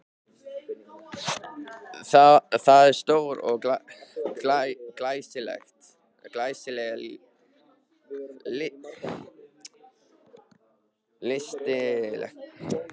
Það var stór og glæsileg lystisnekkja.